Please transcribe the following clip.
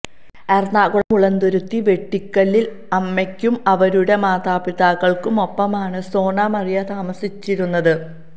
എറണാകുളം മുളന്തുരുത്തി വെട്ടിക്കലിൽ അമ്മയ്ക്കും അവരുടെ മാതാപിതാക്കൾക്കുമൊപ്പമാണ് സോന മരിയ താമസിച്ചിരുന്നത്